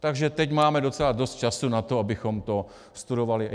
Takže teď máme docela dost času na to, abychom to studovali.